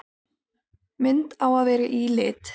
Mynd á að vera í lit.